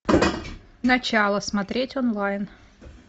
начало смотреть онлайн